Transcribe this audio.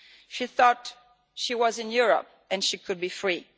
She thought she was in Europe and she could be free.